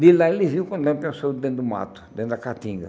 De lá eles viu quando dentro do mato, dentro da catinga.